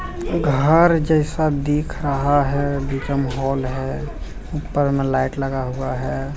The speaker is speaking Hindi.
घर जैसा दिख रहा है नीचे मे हाल है ऊपर लाइट में लगा हुआ है।